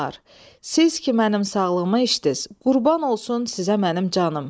siz ki mənim sağlığıma içdiz, qurban olsun sizə mənim canım.